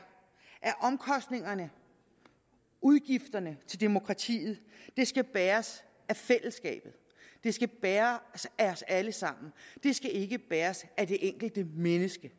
at omkostningerne udgifterne til demokratiet skal bæres af fællesskabet de skal bæres af os alle sammen de skal ikke bæres af det enkelte menneske